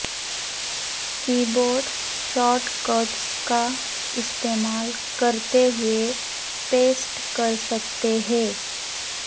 کی board shortcuts کا استعمال کرتے ہوئے پیسٹ کرسکتے ہیں